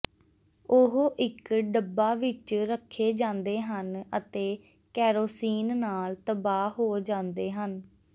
ਉਹ ਇੱਕ ਡੱਬਾ ਵਿੱਚ ਰੱਖੇ ਜਾਂਦੇ ਹਨ ਅਤੇ ਕੈਰੋਸੀਨ ਨਾਲ ਤਬਾਹ ਹੋ ਜਾਂਦੇ ਹਨ